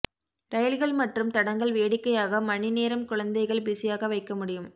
ரயில்கள் மற்றும் தடங்கள் வேடிக்கையாக மணி நேரம் குழந்தைகள் பிஸியாக வைக்க முடியும்